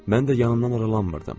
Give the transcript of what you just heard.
Mən də yanından aralanmırdım.